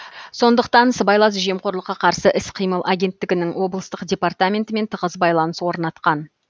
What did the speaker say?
сондықтан сыбайлас жемқорлыққа қарсы іс қимыл агенттігінің облыстық департаментімен тығыз байланыс орнатқан